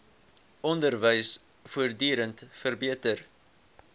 onderwys voortdurend verbeter